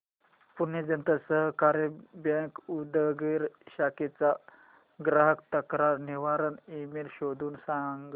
Pune Janata Sahakari bank Udgir शाखेचा ग्राहक तक्रार निवारण ईमेल शोधून सांग